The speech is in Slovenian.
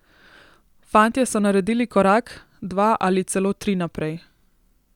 Fantje so naredili korak, dva ali celo tri naprej.